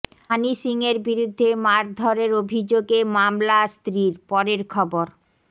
হানি সিংয়ের বিরুদ্ধে মারধরের অভিযোগে মামলা স্ত্রীর পরের খবর